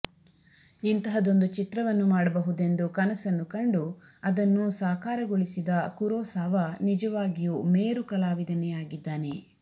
ಇಂತಹದೊಂದು ಚಿತ್ರವನ್ನು ಮಾಡಬಹುದೆಂದು ಕನಸನ್ನು ಕಂಡು ಅದನ್ನು ಸಾಕಾರಗೊಳಿಸಿದ ಕುರೋಸಾವ ನಿಜವಾಗಿಯೂ ಮೇರು ಕಲಾವಿದನೇ ಆಗಿದ್ದಾನೆ